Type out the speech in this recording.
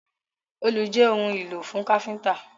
Òòlù jé òun ìlò fún káfínńtà!